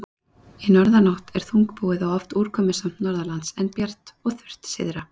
Í norðanátt er þungbúið og oft úrkomusamt norðanlands, en bjart og þurrt syðra.